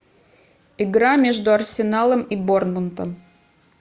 игра между арсеналом и борнмутом